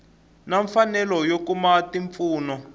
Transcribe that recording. na mfanelo yo kuma mimpfuno